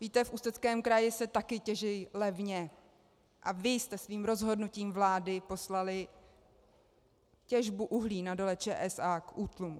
Víte, v Ústeckém kraji se také těží levně a vy jste svým rozhodnutím vlády poslali těžbu uhlí na Dole ČSA k útlumu.